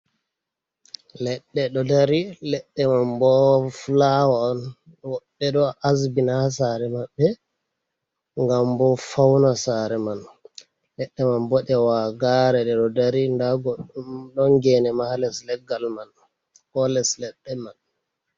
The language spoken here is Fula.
Leɗɗe ɗo dari, leɗɗe man bo fulawa on woɓɓe ɗo asbina ha sare manɓɓe ngam bo fauna sare man, leɗɗe man bo ɗe wagare ɗe ɗo dari, nda goɗɗum ɗon gene ma ha les leggal man, ko les ledɗe man.